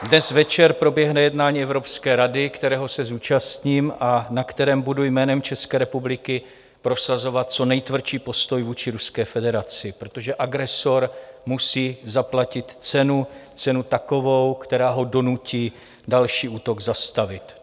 Dnes večer proběhne jednání Evropské rady, kterého se zúčastním a na kterém budu jménem České republiky prosazovat co nejtvrdší postoj vůči Ruské federaci, protože agresor musí zaplatit cenu, cenu takovou, která ho donutí další útok zastavit.